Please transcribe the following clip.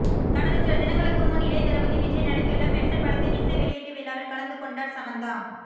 கடந்த சில தினங்களுக்கு முன் இளையதளபதி விஜய் நடித்துள்ள மெர்சல் படத்தின் இசை வெளியீட்டு விழாவில் கலந்துக்கொண்டார் சமந்தா